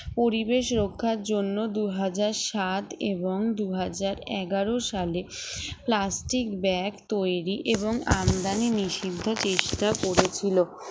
পরিবেশ রক্ষার জন্য দুই হাজার সাত এবং দুই হাজার এগারো সালে plastic bag তৈরি এবং আমদানি নিষিদ্ধ চেষ্টা করেছিল